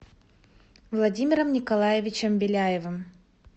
владимиром николаевичем беляевым